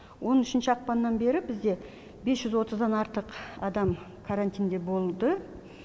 он үшінші ақпаннан бері бізде бес жүз отыздан артық адам карантинде болды